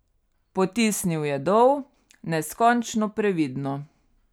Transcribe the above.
Potisnil je dol, neskončno previdno.